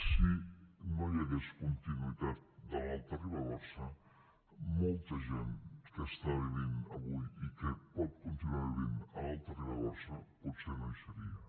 si no hi hagués continuïtat de l’alta ribagorça molta gent que està vivint avui i que pot continuar vivint a l’alta ribagorça potser no hi seria